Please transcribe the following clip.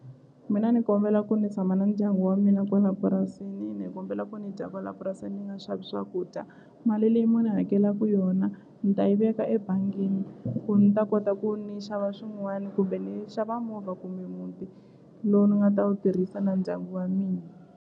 Mina ni kombela ku ni tshama na ndyangu wa mina kwala purasini ni kombela ku ni dya kwala purasini ni nga xavi swakudya mali leyi mu ni hakelaku yona ni ta yi veka ebangini ku ni ta kota ku ni xava swin'wana kumbe ni xava movha kumbe muti lowu ni nga ta wu tirhisa na ndyangu wa mina.